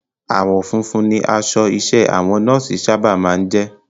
Àwọ̀ funfun ni aṣọ iṣẹ́ àwọn Nọ́ọ̀sì sábà máa ń jẹ́